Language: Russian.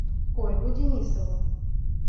ольгу денисову